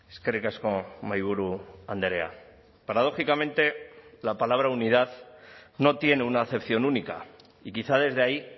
eskerrik asko mahaiburu andrea paradógicamente la palabra unidad no tiene una acepción única y quizá desde ahí